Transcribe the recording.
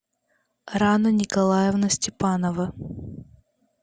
рана николаевна степанова